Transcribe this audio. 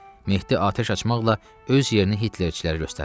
Mehdi atəş açmaqla öz yerini Hitlerçilərə göstərmişdi.